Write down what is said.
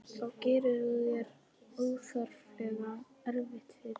Þá gerir þú þér óþarflega erfitt fyrir.